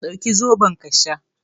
Dauki zaɓon ka sha